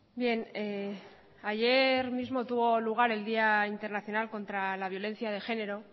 bien ayer mismo tuvo lugar el día internacional contra la violencia de género